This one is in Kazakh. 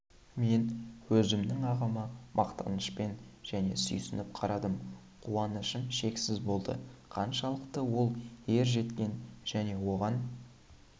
мен өзімнің ағама мақтанышпен және сүйсініп қарадым қуанышым шексіз болды қаншалықты ол ер жеткен және оған